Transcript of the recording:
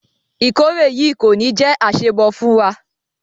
Ìkórè yìí kò ní jé àṣemọ fún wa.